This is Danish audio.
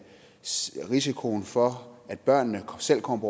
risikoen for at børnene selv kommer